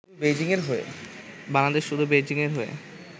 বাংলাদেশ শুধু বেইজিংয়ের হয়ে